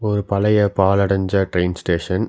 ஒரு பழைய பாலடஞ்ச ட்ரெய்ன் ஸ்டேஷன் .